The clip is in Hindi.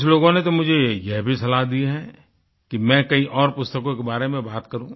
कुछ लोगों ने तो मुझे यह भी सलाह दी है कि मैं कई और पुस्तकों के बारे में बात करूँ